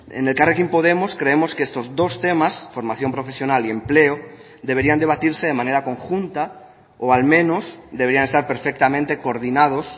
en elkarrekin podemos creemos que estos dos temas formación profesional y empleo deberían debatirse de manera conjunta o al menos deberían estar perfectamente coordinados